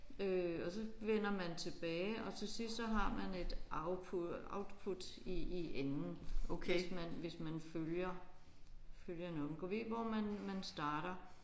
Øh og så vender man tilbage og til sidst så har man et output output i i enden hvis man hvis man følger følger nogen. Gad vide hvor man starter